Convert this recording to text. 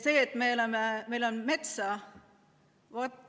Me elame paigas, kus on palju metsa.